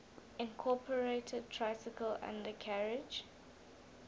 incorporated tricycle undercarriage